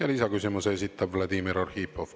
Ja lisaküsimuse esitab Vladimir Arhipov.